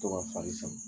To ka fari san